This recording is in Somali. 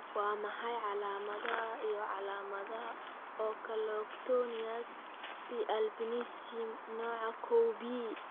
Waa maxay calaamadaha iyo calaamadaha Oculocutaneous albinism nooca kowB?